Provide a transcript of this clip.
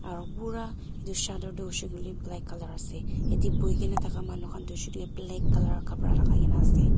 aa pura etu shattered toh hoise koile black colour ase ete bohi ke na thaka manu khan oshorte black colour kapra lagai ke na ase.